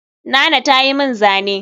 Nana ta yi min zane